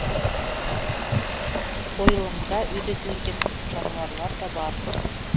қойылымда үйретілген жануарлар да бар